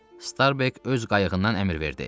Starbek öz qayığından əmr verdi.